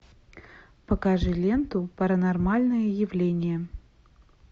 покажи ленту паранормальное явление